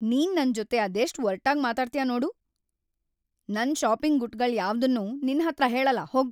ನೀನ್ ನನ್ಜೊತೆ ಅದೆಷ್ಟ್‌ ಒರ್ಟಾಗ್ ಮಾತಾಡ್ತ್ಯಾ ನೋಡು, ನನ್‌ ಷಾಪಿಂಗ್ ಗುಟ್ಟ್‌ಗಳ್ಯಾವ್ದನ್ನೂ ನಿನ್ಹತ್ರ ಹೇಳಲ್ಲ ಹೋಗ್.